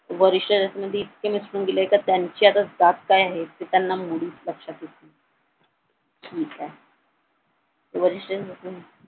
वरिष्ठ मध्ये इतके मिसळून गेले कि त्यांची जात काय आहे ते त्यांना आता मुळीच लक्षात नाही ठीक आहे वरिष्ठ म्हणून